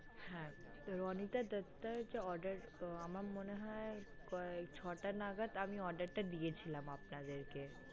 হ্যাঁ রণিতা দত্তার যে order আমার মনে হয় ওই ছয়টা নাগাদ আমি order টা দিয়েছিলাম আপনাদেরকে।